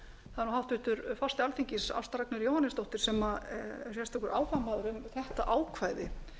það er nú háttvirtur forseti alþingis ásta ragnheiður jóhannesdóttir sem er sérstakur áhugamaður um þetta ákvæði